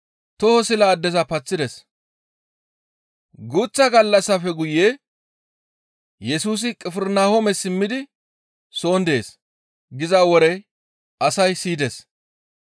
Guuththa gallassafe guye, «Yesusi Qifirnahoome simmidi soon dees» giza wore asay siyides.